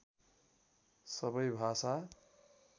सबै भाषा